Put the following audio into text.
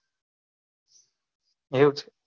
એવું